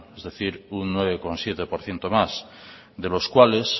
es decir un nueve coma siete por ciento más de los cuales